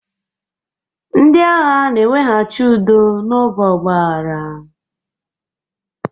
Ndị agha na-eweghachi udo n'oge ọgbaaghara.